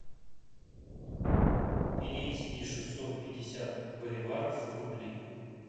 перевести шестьсот пятьдесят боливаров в рубли